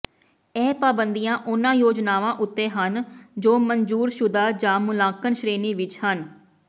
ਇਹ ਪਾਬੰਦੀਆਂ ਉਨ੍ਹਾਂ ਯੋਜਨਾਵਾਂ ਉੱਤੇ ਹਨ ਜੋ ਮਨਜ਼ੂਰਸ਼ੁਦਾ ਜਾਂ ਮੁਲਾਂਕਣ ਸ਼੍ਰੇਣੀ ਵਿੱਚ ਹਨ